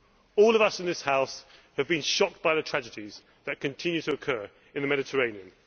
All of us in this House have been shocked by the tragedies that continue to occur in the Mediterranean.